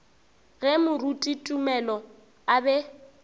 ge moruti tumelo a be